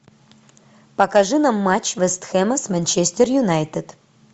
покажи нам матч вест хэма с манчестер юнайтед